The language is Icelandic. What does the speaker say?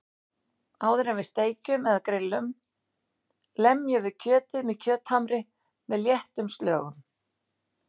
Áður en við steikjum eða grill um lemjum við kjötið með kjöthamri með léttum slögum.